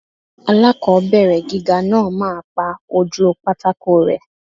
Aláàkọ́bẹ̀rẹ̀ gíga náà máa pa ojúu pátákó rẹ́.